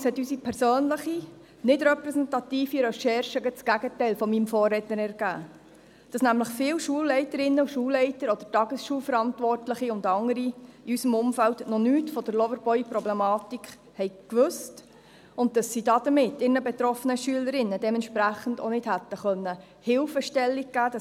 Allerdings hat unsere persönliche, nicht repräsentative Recherche gerade das Gegenteil meines Vorredners ergeben, nämlich, dass viele Schulleiterinnen und Schulleiter oder Tagesschulverantwortliche und andere in unserem Umfeld noch nichts von der Loverboy-Problematik gewusst haben und dass sie damit ihren betroffenen Schülerinnen dementsprechend auch nicht hätten Hilfestellungen geben können.